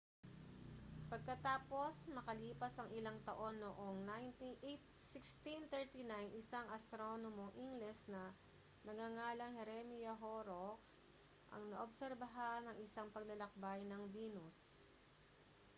pagkatapos makalipas ang ilang taon noong 1639 isang astronomong ingles na nagngangalang jeremiah horrocks ang naobserbahan ang isang paglalakbay ng venus